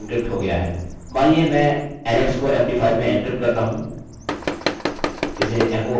मानिए मैं alex को md5 में एन्क्रिप्ट करता हूँ इसे एको और रिफ्रेश करें